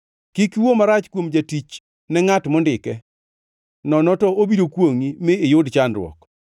“Kik iwuo marach kuom jatich ne ngʼat mondike nono to obiro kwongʼi, mi iyud chandruok.